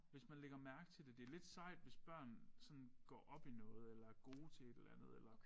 Hvis man lægger mærke til det. Det lidt sejt hvis børn sådan går op i noget eller er gode til et eller andet eller